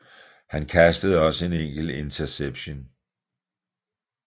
Han kastede også en enkelt interception